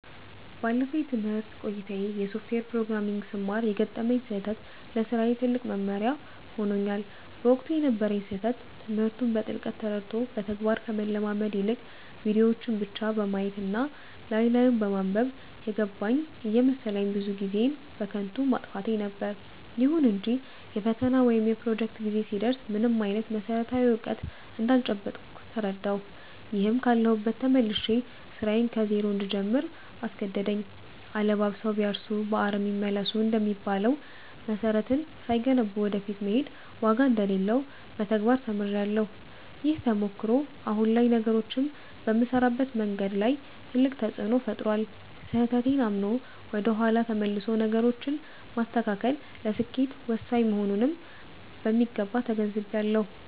ባለፈው የትምህርት ቆይታዬ የሶፍትዌር ፕሮግራሚንግን ስማር የገጠመኝ ስህተት ለስራዬ ትልቅ መማሪያ ሆኖኛል። በወቅቱ የነበረኝ ስህተት ትምህርቱን በጥልቀት ተረድቶ በተግባር ከመለማመድ ይልቅ፣ ቪዲዮዎችን ብቻ በማየት እና ላይ ላዩን በማንበብ 'የገባኝ' እየመሰለኝ ብዙ ጊዜዬን በከንቱ ማጥፋቴ ነበር። ይሁን እንጂ የፈተና ወይም የፕሮጀክት ጊዜ ሲደርስ ምንም አይነት መሰረታዊ እውቀት እንዳልጨበጥኩ ተረዳሁ፤ ይህም ካለሁበት ተመልሼ ስራዬን ከዜሮ እንድጀምር አስገደደኝ።' አለባብሰው ቢያርሱ በአረም ይመለሱ' እንደሚባለው፣ መሰረትን ሳይገነቡ ወደ ፊት መሄድ ዋጋ እንደሌለው በተግባር ተምሬያለሁ። ይህ ተሞክሮ አሁን ላይ ነገሮችን በምሰራበት መንገድ ላይ ትልቅ ተፅእኖ ፈጥሯል። ስህተቴን አምኖ ወደ ኋላ ተመልሶ ነገሮችን ማስተካከል ለስኬት ወሳኝ መሆኑንም በሚገባ ተገንዝቤያለሁ።